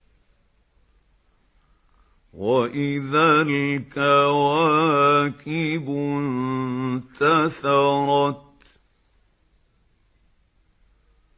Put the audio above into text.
وَإِذَا الْكَوَاكِبُ انتَثَرَتْ